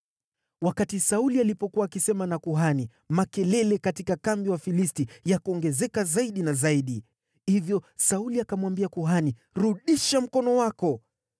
Wakati Sauli alipokuwa akisema na kuhani, makelele katika kambi ya Wafilisti yakaongezeka zaidi na zaidi. Hivyo Sauli akamwambia kuhani, “Rudisha mkono wako.”